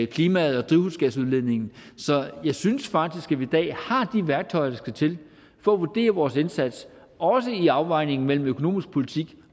klimaet og drivhusgasudledningen så jeg synes faktisk at vi i dag har de værktøjer der skal til for at vurdere vores indsats også i afvejningen mellem økonomisk politik